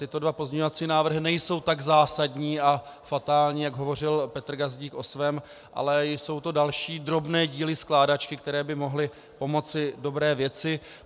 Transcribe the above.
Tyto dva pozměňovací návrhy nejsou tak zásadní a fatální, jak hovořil Petr Gazdík o svém, ale jsou to další drobné díly skládačky, které by mohly pomoci dobré věci.